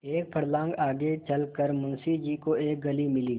एक फर्लांग आगे चल कर मुंशी जी को एक गली मिली